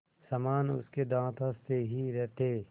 समान उसके दाँत हँसते ही रहते